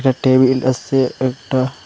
একটা টেবিল আসে একটা।